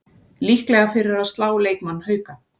Líklega fyrir að slá leikmann Hauka